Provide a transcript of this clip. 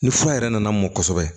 Ni fura yɛrɛ nana mɔn kosɛbɛ